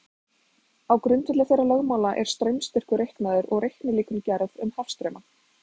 Á grundvelli þeirra lögmála er straumstyrkur reiknaður og reiknilíkön gerð um hafstrauma.